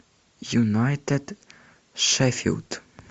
юнайтед шеффилд